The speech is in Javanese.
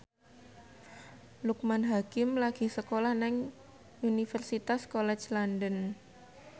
Loekman Hakim lagi sekolah nang Universitas College London